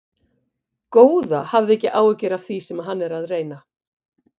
Góða, hafðu ekki áhyggjur af því sem hann er að reyna.